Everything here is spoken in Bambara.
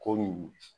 Komi